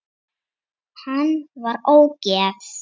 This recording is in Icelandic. Hann var ógeð!